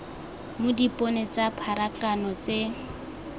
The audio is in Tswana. mo dipone tsa pharakano tse